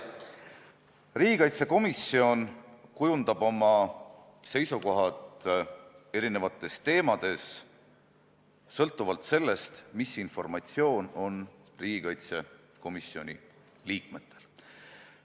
Riigikaitsekomisjon kujundab oma seisukohad eri teemades sõltuvalt sellest, mis informatsioon komisjoni liikmetel on.